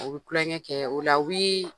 U bɛ tulonkɛ kɛ, o la o